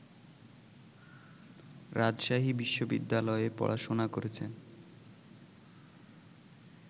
রাজশাহী বিশ্ববিদ্যালয়ে পড়াশোনা করেছেন